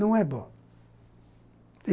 Não é bom.